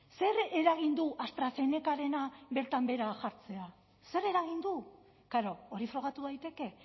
zer eragin du astrazenecarena bertan behera jartzeak zer eragin du klaro hori frogatu daiteke